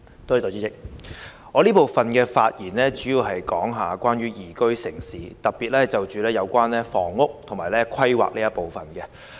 代理主席，我這部分發言主要關於宜居城市，並會針對房屋及規劃事宜發言。